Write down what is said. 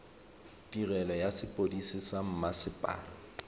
tirelo ya sepodisi sa mmasepala